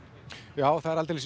já það er aldeilis